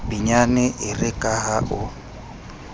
pinyane ere ka ha o